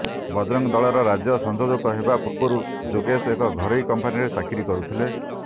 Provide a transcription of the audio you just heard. ବଜରଙ୍ଗ ଦଳର ରାଜ୍ୟ ସଂଯୋଜକ ହେବା ପୂର୍ବରୁ ଯୋଗେଶ ଏକ ଘରୋଇ କମ୍ପାନୀରେ ଚାକିରି କରୁଥିଲେ